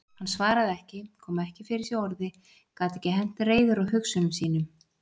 Hann svaraði ekki, kom ekki fyrir sig orði, gat ekki hent reiður á hugsunum sínum.